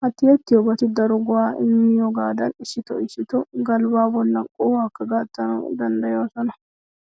Ha tiyettiyobati daro go"aa immiyogaadan issitoo issitoo galbbaa bollan qohuwakka gattanawu danddayoosona.